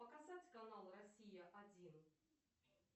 показать канал россия один